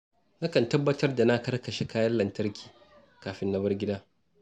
Nakan tabbatar da na karkashi kayan lantarki kafin in bar gida.